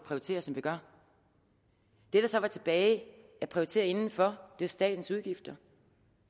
prioriterer som vi gør det der så var tilbage at prioritere indenfor var statens udgifter